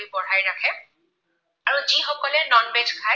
যিসকলে non veg খায়